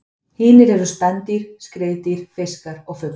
Hinir eru spendýr, skriðdýr, fiskar og fuglar.